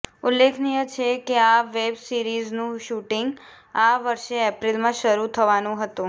ઉલ્લેખનિય છે કે આ વેબ સિરીઝનું શૂટિંગ આ વર્ષે એપ્રિલમાં શરૂ થવાનું હતુ